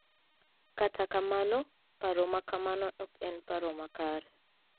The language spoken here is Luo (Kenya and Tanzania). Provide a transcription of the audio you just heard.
Kata kamano, paro ma kamano ok en paro makare.